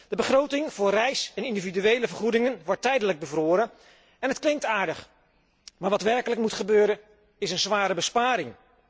De begroting voor reis en individuele vergoedingen wordt tijdelijk bevroren en het klinkt aardig, maar wat werkelijk moet gebeuren, is een zware besparing.